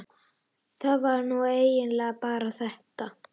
það var nú eiginlega bara þetta.